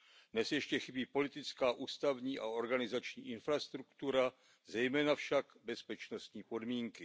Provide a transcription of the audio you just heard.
Dnes ještě chybí politická, ústavní a organizační infrastruktura, zejména však bezpečnostní podmínky.